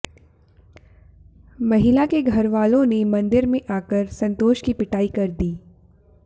महिला के घरवालों ने मंदिर में आकर संतोष की पिटाई कर दी